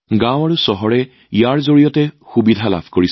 ইয়াৰ দ্বাৰা চহৰ আৰু গ্ৰাম্য উভয় লোককে সমান সুযোগ লাভ কৰে